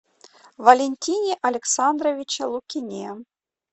валентине александровиче лукине